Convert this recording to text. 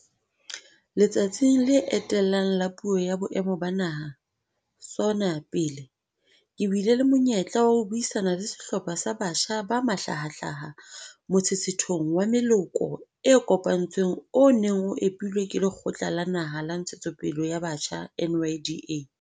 Letsatsing le etellang la Puo ya Boemo ba Naha, SoNA, pele, ke bile le monyetla wa ho buisana le sehlopha sa batjha ba mahlahahlaha motshetshethong wa meloko e kopantsweng o neng o epilwe ke Lekgotla la Naha la Ntshetsopele ya Batjha, NYDA,